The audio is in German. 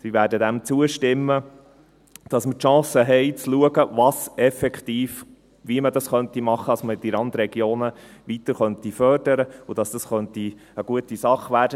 Wir werden dem zustimmen, damit wir die Chance haben, zu schauen, wie man das effektiv machen könnte, damit man die Randregionen weiter fördern und damit das eine gute Sache werden könnte.